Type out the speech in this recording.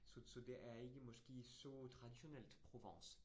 Så så det er ikke måske så traditionelt Provence